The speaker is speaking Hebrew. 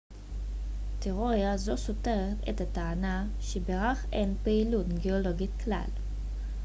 תיאוריה זו סותרת את הטענה שבירח אין פעילות גאולוגית כלל